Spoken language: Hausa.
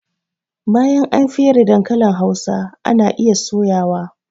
Bayan an fere dankalin hausa ana iya soya wa